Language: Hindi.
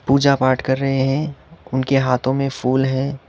पूजा पाठ कर रहे हैं उनके हाथों में फूल है।